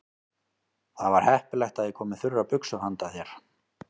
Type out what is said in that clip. Það var heppilegt að ég kom með þurrar buxur handa þér.